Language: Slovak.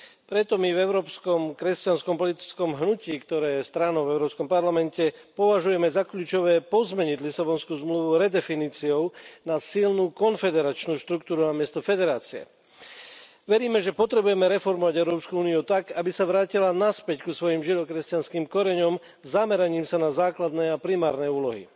Preto my v Európskom kresťanskom politickom hnutí, ktoré je stranou v Európskom parlamente, považujeme za kľúčové pozmeniť Lisabonskú zmluvu redefiníciou na silnú konfederačnú štruktúru a miesto federácie. Veríme, že potrebujeme reformovať Európsku úniu tak, aby sa vrátila naspäť k svojim žido kresťanským koreňom zameraním sa na základné a primárne úlohy.